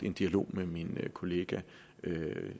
en dialog med min kollega